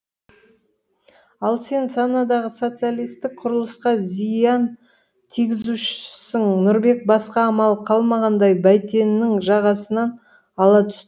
ал сен санадағы социалистік құрылысқа зиян тигізушісің нұрбек басқа амалы қалмағандай бәйтеннің жағасынан ала түс